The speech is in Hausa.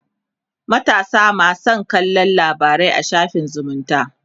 matasa ma San kallan labarai a shafin zumunta